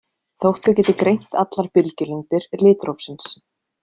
Þótt þau geti greint allar bylgjulengdir litrófsins.